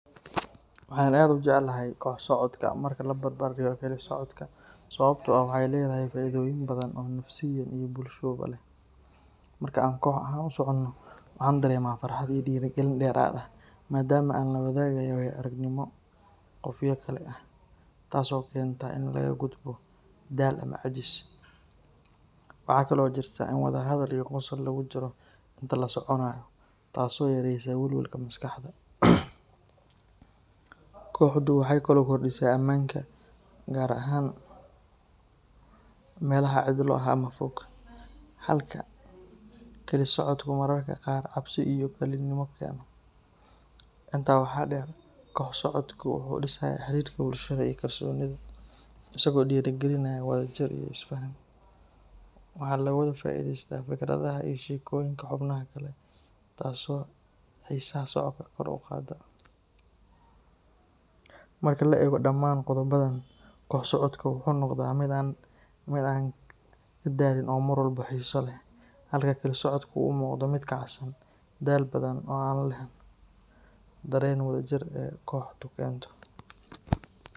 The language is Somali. Waxaan aad u jeclahay koox socodka marka la barbar dhigo keli socodka sababtoo ah waxay leedahay faa’iidooyin badan oo nafsiyan iyo bulshoba leh. Marka aan koox ahaan u socono, waxaan dareemaa farxad iyo dhiirigelin dheeraad ah maadaama aan la wadaagayo waayo-aragnimo qofyo kale ah, taas oo keenta in laga gudbo daal ama caajis. Waxa kale oo jirta in wada hadal iyo qosol lagu jiro intaan la soconayo, taasoo yareysa walwalka maskaxda. Kooxdu waxay kaloo kordhisaa ammaanka, gaar ahaan meelaha cidlo ah ama fog, halka keli socodku mararka qaar cabsi iyo kalinimo keeno. Intaa waxaa dheer, koox socodka wuxuu dhisayaa xiriirka bulshada iyo kalsoonida, isagoo dhiirrigelinaya wadajir iyo is-faham. Waxaa laga wada faa’iideystaa fikradaha iyo sheekooyinka xubnaha kale, taasoo xiisaha socodka kor u qaadda. Marka la eego dhammaan qodobbadan, koox socodka wuxuu noqdaa mid aan ka daalin oo mar walba xiiso leh, halka keli socodku u muuqdo mid kacsan, daal badan, oo aan lehna dareenka wadajir ee kooxdu keento.